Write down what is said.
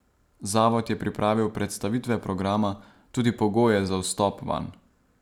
Zavod je pripravil predstavitve programa, tudi pogoje za vstop vanj.